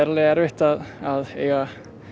erfitt að að eiga